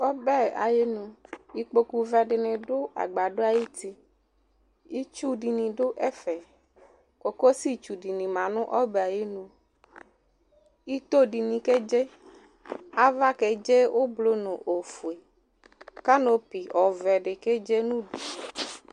ɔbɛ ayinʋ ikpokʋ vɛ dini dʋ agbadɔ ayiti itsʋ dini dʋ ɛfɛ kokosi tsʋ dini bi ma nʋ obɛ ayinʋ itoh dini kɛ dzɛ aɣa kɛ dzɛ oblʋ nʋ ofuɛ canopy ɔvɛ di kɛ dzɛ nʋ ʋdʋ